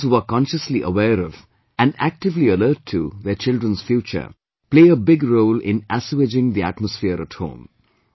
Mothers who are consciously aware of and actively alert to their children's future, play a big role in assuaging the atmosphere at home